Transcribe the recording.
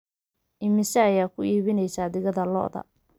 imise ayaa ku iibinaysaa digada lo'da